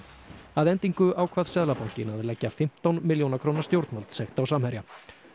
að endingu ákvað Seðlabankinn að leggja fimmtán milljóna stjórnvaldssekt á Samherja